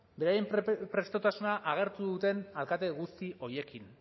beren prestutasuna agertu duten alkate guzti horiekin